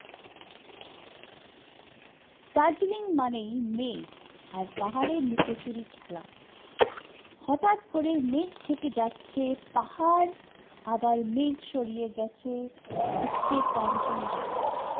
দার্জেলিং মানেই মেঘ, আর পাহাড়ের লুকোচুরি খেলা, হটাৎ করে মেঘ থেকে যাচ্ছে পাহাড় আবার মেঘ সরিয়ে যাচ্ছে, উঠছে কাঞ্চন জংঘা